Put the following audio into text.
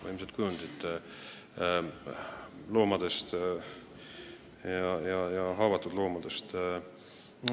Võimsad kujundid haavatud loomadest!